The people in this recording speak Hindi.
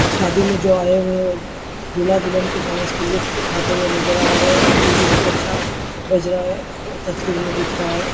शादी में जो आये हुए है वो दूल्हा दुल्हन की डांस की लुत्फ़ उठाते हुए नज़र आ रहे है म्यूजिक भी अच्छा बज रहा है तस्वीर में दिख रहा है।